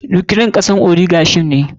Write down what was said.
Ukraine kasar oligarchy ce.